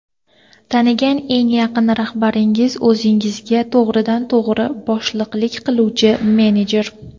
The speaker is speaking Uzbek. Tanigan eng yaqin rahbaringiz o‘zingizga to‘g‘ridan to‘g‘ri boshliqlik qiluvchi menejer.